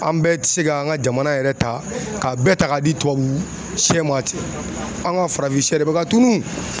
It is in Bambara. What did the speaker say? An bɛɛ tɛ se ka an ka jamana yɛrɛ ta k'a bɛɛ ta k'a di tubabu sɛ ma ten anw ka farafin sɛ de bɛ ka tunu